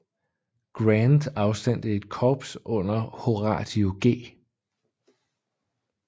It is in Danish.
Grant afsendte et korps under Horatio G